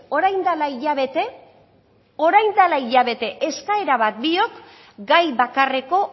orain dela hilabete orain dela hilabete eskaera bat biok gai bakarreko